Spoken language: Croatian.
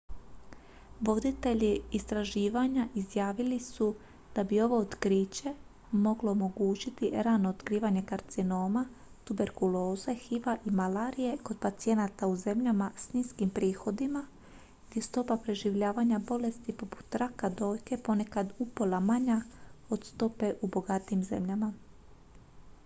voditelji istraživanja izjavili su da bi ovo otkriće moglo omogućiti rano otkrivanje karcinoma tuberkuloze hiv-a i malarije kod pacijenata u zemljama s niskim prihodima gdje je stopa preživljavanja bolesti poput raka dojke ponekad upola manja od stope u bogatijim zemljama